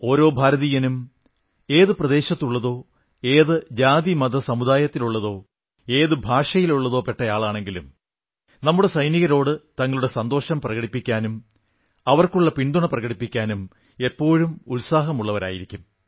ഓരോ ഭാരതീയനും ഏതു പ്രദേശത്തുള്ളതോ ഏതു ജാതിമതസമുദായത്തിലുള്ളതോ ഏതു ഭാഷയിലോ പെട്ടയാളാണെങ്കിലും നമ്മുടെ സൈനികരോട് തങ്ങളുടെ സന്തോഷം പ്രകടിപ്പിക്കാനും അവർക്കുള്ള പിന്തുണ പ്രകടിപ്പിക്കാനും എപ്പോഴും ഉത്സാഹമുള്ളവരായിരിക്കും